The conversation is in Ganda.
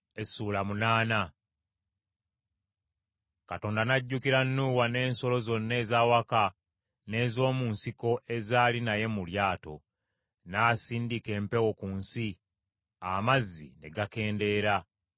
Katonda n’ajjukira Nuuwa n’ensolo zonna ez’awaka n’ez’omu nsiko ezaali naye mu lyato, n’asindika empewo ku nsi, amazzi ne gakendeera;